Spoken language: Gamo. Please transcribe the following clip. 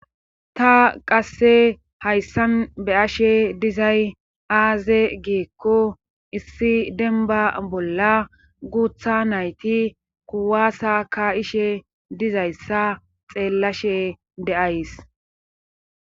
Ta qase haysan beyashe dizayssi aybe gikko issi denba bola gutha nayti kuwasa kayshe dizayssa xelashe da'ys.